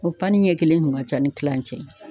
O pani ɲɛkelen kun ka ca ni kilancɛ ye